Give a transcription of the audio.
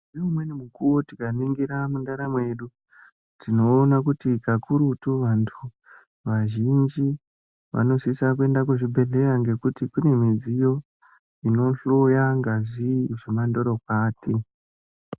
Ngeumweni mukuwo tikaningira mundaramo yedu tinoona kuti kakurutu antu vazhinji vanosisa kuenda kuzvibhendleya ngekuti kune midziyo inohloya ngazi zvemandorokwati.